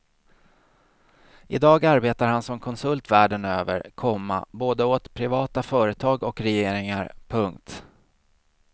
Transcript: I dag arbetar han som konsult världen över, komma både åt privata företag och regeringar. punkt